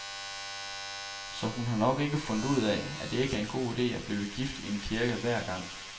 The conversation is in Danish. Så hun har nok fundet ud af, at det ikke er en god idé at blive gift i en kirke hver gang.